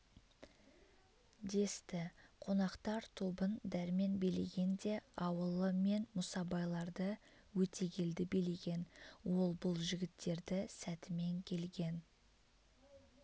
десті қонақтар тобын дәрмен билеген де ауылы мен мұсабайларды өтегелді билеген ол бұл жігіттерді сәтімен келген